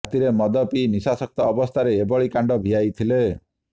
ରାତିରେ ମଦ ପିଇ ନିଶାସକ୍ତ ଅବସ୍ଥାରେ ଏଭଳି କାଣ୍ଡ ଭିଆାଇଥିଲେ